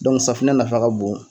safunɛ nafa ka bon